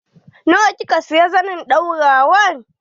Nawa kika siya zanin ɗaurawan?